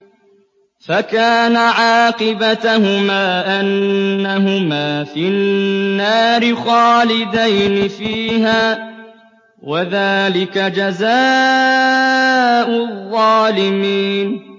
فَكَانَ عَاقِبَتَهُمَا أَنَّهُمَا فِي النَّارِ خَالِدَيْنِ فِيهَا ۚ وَذَٰلِكَ جَزَاءُ الظَّالِمِينَ